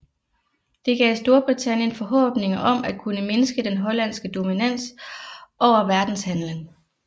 Det gav Storbritannien forhåbninger om at kunne mindske den hollandske dominans over verdenshandelen